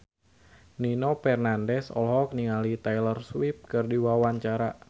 Nino Fernandez olohok ningali Taylor Swift keur diwawancara